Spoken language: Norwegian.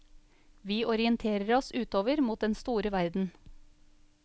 Vi orienterer oss utover mot den store verden.